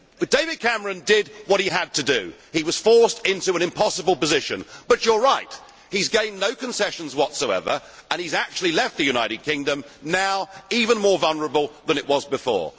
David Cameron did what he had to do he was forced into an impossible position but, you are right, Mr Smyth he has gained no concessions whatsoever and he has actually now left the United Kingdom even more vulnerable than it was before.